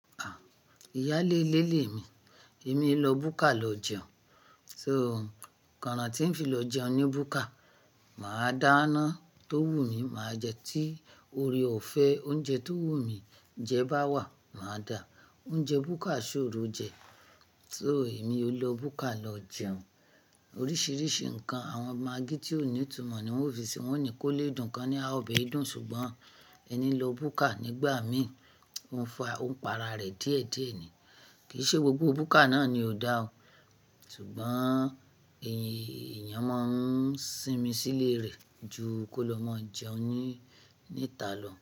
À, ìyá lé lé lèmi. Èmi i lọ búkà lọ jẹun. So, kanran tí ń fi lọ jẹun ní búkà, màá dá iná tó wùmí, màá jẹ. Tí oore ò fẹ́ oúnjẹ tó wù mí jẹ bá wà, màá dà á. Oúnjẹ búkà ṣòro jẹ. So èmi o lọ búkà lọ jẹun. Oríṣìíríṣìí ǹkan àwọn magí tí ò ní ìtumọ̀ ni wọ́n o fi sì, wọ́n ní kó lé dùn, kàn ní a ọbẹ yi dùn, ṣùgbọ́n ẹni lọ búkà nígbà mi ó ń fa ó ń pa ara rẹ̀ díẹ̀díẹ̀ ní. Kì í ṣe gbogbo búkà náà ni ò dá o. Ṣùgbọ́n è èèyàn máa ń sinmi sílè rẹ̀ ju kó lọ máa jẹun níta lọ.